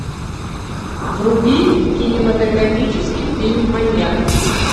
вруби кинематографический фильм маньяк